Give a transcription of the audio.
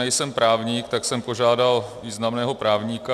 Nejsem právník, tak jsem požádal významného právníka.